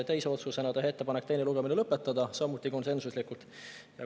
Teine otsus: teha ettepanek teine lugemine lõpetada, samuti konsensuslikult.